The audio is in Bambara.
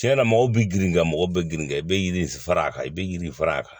Tiɲɛ na mɔgɔw bɛ girin ka mɔgɔ bɛ girin ka i bɛ yiri fara a kan i bɛ yiri fara a kan